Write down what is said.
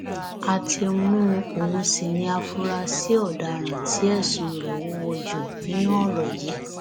a ti mú un òun sí ní àfúrásì ọdaràn tí ẹsùn rẹ wúwo jù nínú ọrọ yìí